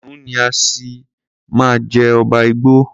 Kìnìún ni á ṣì máa jẹ́ ọba igbó.